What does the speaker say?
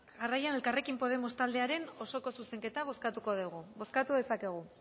jarraian elkarrekin podemos taldearen osoko zuzenketa bozkatuko dugu bozkatu dezakegu